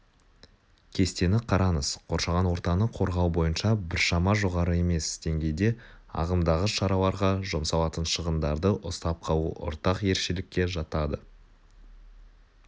кестені қараңыз қоршаған ортаны қорғау бойынша біршама жоғары емес деңгейде ағымдағы шараларға жұмсалатын шығындарды ұстап қалу ортақ ерекшелікке жатады